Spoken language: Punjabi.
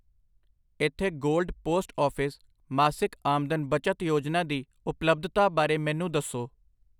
ਇੱਥੇ ਗੋਲਡ ਪੋਸਟ ਆਫਿਸ ਮਾਸਿਕ ਆਮਦਨ ਬਚਤ ਯੋਜਨਾ ਦੀ ਉਪਲੱਬਧਾ ਬਾਰੇ ਮੈਨੂੰ ਦੱਸੋ !